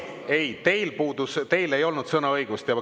Ei, ei, teil ei olnud sõnaõigust.